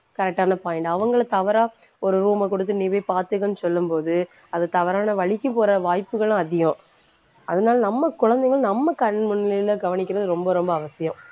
correct ஆன point அவங்களை தவறா ஒரு room அ கொடுத்து நீ போய் பார்த்துக்கன்னு சொல்லும் போது அது தவறான வழிக்கு போற வாய்ப்புகளும் அதிகம் அதனால நம்ம குழந்தைங்க நம்ம கண் முன்னிலையில கவனிக்கிறது ரொம்ப ரொம்ப அவசியம்.